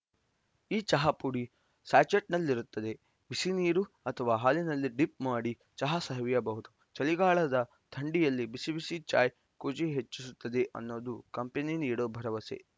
ಈ ಚಹಾ ಪುಡಿ ಸ್ಯಾಚೆಟ್‌ನಲ್ಲಿರುತ್ತೆ ಬಿಸಿ ನೀರು ಅಥವಾ ಹಾಲಿನಲ್ಲಿ ಡಿಪ್‌ ಮಾಡಿ ಚಹಾ ಸವಿಯಬಹುದು ಚಳಿಗಾಲದ ಥಂಡಿಯಲ್ಲಿ ಬಿಸಿ ಬಿಸಿ ಚಾಯ್‌ ಖುಷಿ ಹೆಚ್ಚಿಸುತ್ತೆ ಅನ್ನೋದು ಕಂಪೆನಿ ನೀಡೋ ಭರವಸೆ